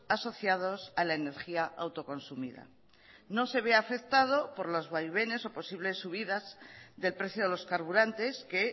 asociados a la energía autoconsumida no se ve afectado por los vaivenes o posibles subidas del precio de los carburantes que